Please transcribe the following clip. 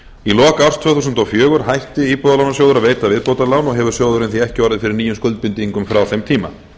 í lok árs tvö þúsund og fjögur hætti íbúðalánasjóður að veita viðbótarlán og hefur sjóðurinn því ekki orðið fyrir nýjum skuldbindingum frá þeim tíma